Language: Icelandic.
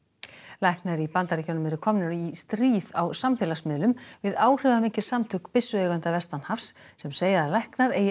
læknar í Bandaríkjunum eru komnir í stríð á samfélagsmiðlum við áhrifamikil samtök byssueigenda vestanhafs sem segja að læknar eigi